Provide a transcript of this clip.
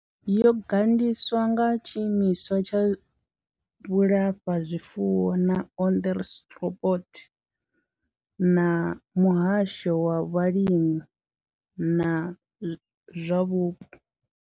Yo gandiswa nga tshiimiswa tsha vhulafhazwifuwo na Onderstepoort na muhasho wa vhalimi na zwa vhupo.